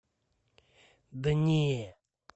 да не